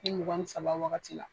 Ni mugan ni saba wagati la.